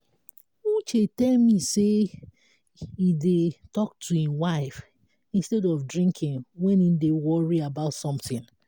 uche tell me say he dey talk to im wife instead of drinking wen he dey worry about something